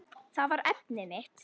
Það var efnið mitt.